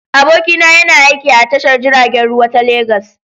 Abokina yana aiki a tashar jiragen ruwa ta Legas.